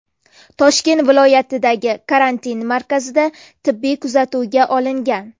Toshkent viloyatidagi karantin markazida tibbiy kuzatuvga olingan.